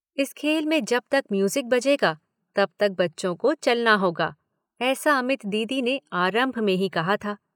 इस खेल में जब तक म्यूजिक बजेगा तब तक बच्चों को चलना होगा, ऐसा अमित दीदी ने आरम्भ में ही कहा था।